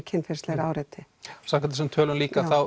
kynferðislegri áreitni samkvæmt þessum tölum líka